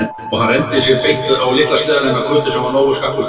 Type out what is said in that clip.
Og hann renndi sér beint á litla sleðann hennar Kötu sem var nógu skakkur fyrir.